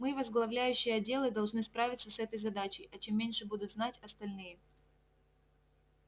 мы возглавляющие отделы должны справиться с этой задачей а чем меньше будут знать остальные